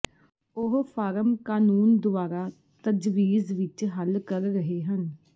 ਉਹ ਫਾਰਮ ਕਾਨੂੰਨ ਦੁਆਰਾ ਤਜਵੀਜ਼ ਵਿੱਚ ਹੱਲ ਕਰ ਰਹੇ ਹਨ